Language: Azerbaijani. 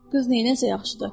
Qız neynəyəcək axı?